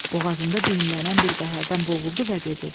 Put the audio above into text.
Boğazında düyünlənən bir qəhərdən boğuldu və dedi: